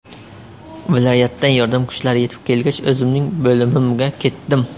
Viloyatdan yordam kuchlari yetib kelgach, o‘zimning bo‘limimga ketdim.